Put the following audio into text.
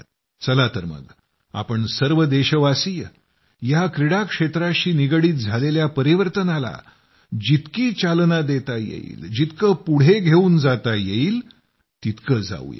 चला तर मग आपण सर्व देशवासीय या क्रीडा क्षेत्राशी निगडित झालेल्या परिवर्तनाला जितकी चालना देता येईल जितकं पुढं घेऊन जाता येईल तितकं जावूया